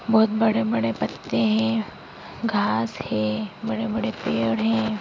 बहोत बड़े-बड़े पत्ते हैं घास है बड़े-बड़े पेड़ हैं।